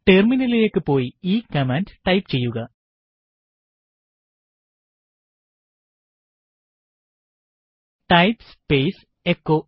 ടെർമിനലിലേക്ക് പോയി ഈ കമാൻഡ് ടൈപ്പ് ചെയ്യുക ടൈപ്പ് സ്പേസ് എച്ചോ